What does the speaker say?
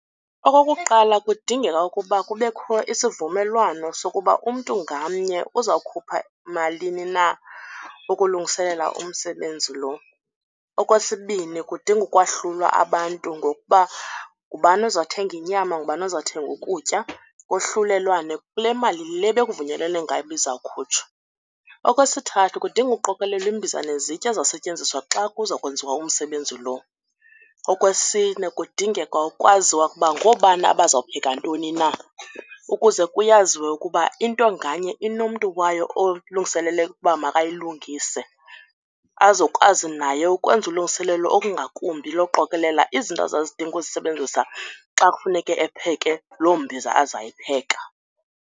Okokuqala, kudingeka ukuba kubekho isivumelwano sokuba umntu ngamnye uzawukhupha malini na ukulungiselela umsebenzi loo. Okwesibini, kudinga ukwahlulwa abantu ngokuba ngubani ozothenga inyama, ngubani ozathenga ukutya kohlulelwane kule mali le bekuvunyelwene ngayo uba izawukhutshwa. Okwesithathu, kudinga uqokelelwa iimbiza nezitya ezizawusetyenziswa xa kuza kwenziwa umsebenzi loo. Okwesine, kudingeka ukwaziwa kuba ngoobani abazawupheka ntoni na ukuze kuyaziwe ukuba into nganye inomntu wayo olungiselele ukuba makayilungise azokwazi naye ukwenza ulungiselelo olungakumbi lokuqokelela izinto azazidinga uzisebenzisa xa kufuneke epheke loo mbiza azayipheka.